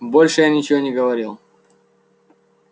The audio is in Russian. больше я ничего не говорил